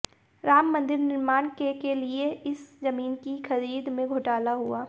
राममंदिर निर्माण के के लिए इस जमीन की खरीद में घोटाला हुआ